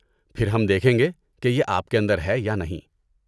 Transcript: پھر ہم دیکھیں گے کہ یہ آپ کے اندر ہے یا نہیں۔